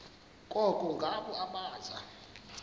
koko ngabo abaza